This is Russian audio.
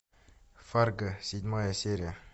фарго седьмая серия